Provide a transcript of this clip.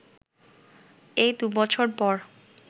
এর দু’বছর পর